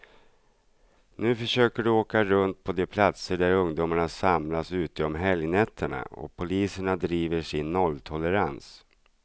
Nu försöker de åka runt på de platser där ungdomarna samlas ute om helgnätterna, och polisen driver sin nolltolerans.